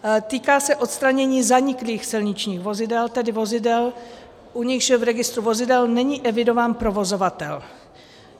Týká se odstranění zaniklých silničních vozidel, tedy vozidel, u nichž v registru vozidel není evidován provozovatel.